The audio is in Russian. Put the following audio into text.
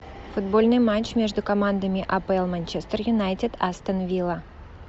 футбольный матч между командами апл манчестер юнайтед астон вилла